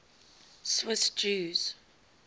swiss jews